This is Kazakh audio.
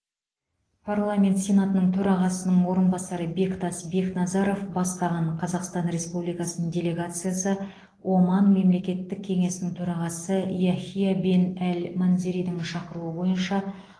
парламент сенатының төрағасының орынбасары бектас бекназаров бастаған қазақстан республикасының делегациясы оман мемлекеттік кеңесінің төрағасы яхия бен әл манзеридің шақыруы бойынша